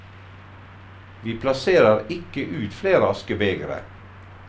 Vi plasserer ikke ut flere askebegre.